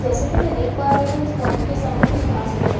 जैसे कि मैं देख पा रही हूं इस बाउंड्री के सामने कुछ घास भी है।